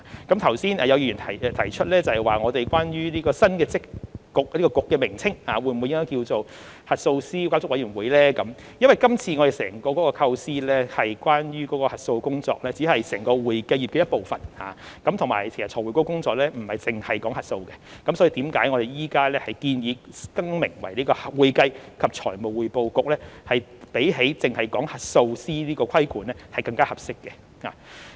剛才有議員提出，關於該局新的名稱應否改為核數師監管委員會，因為今次我們整個構思中，有關核數師的工作只是整個會計業的一部分，而且財匯局的工作亦不只是核數，所以我們現時建議改名為"會計及財務匯報局"，相比只提及核數師的規管更為合適。